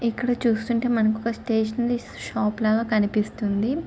ఇక్కడ చూస్తుంటే మనకి ఒక స్టాటినరీ షాప్ లాగా కనిపిస్తుంది.